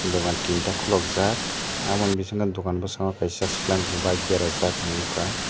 dogan tinta khulukjak obo ni bisingo dugan bwskano no kaisa splendor berajak ang nugkha.